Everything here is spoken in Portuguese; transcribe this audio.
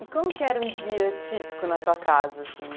E como que era um dia típico na tua casa, assim?